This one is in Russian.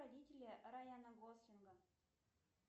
родители райана гослинга